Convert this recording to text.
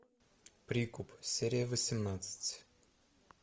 прикуп серия восемнадцать